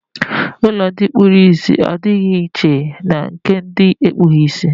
Ụlọ ndị kpuru ìsì adịghị iche na nke ndị ekpughị ìsì na Naịjirịa.